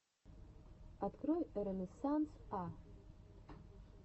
открой ренессанс а